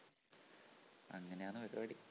അങ്ങനെയാണ് പരിപാടി